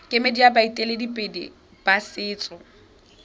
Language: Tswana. kemedi ya baeteledipele ba setso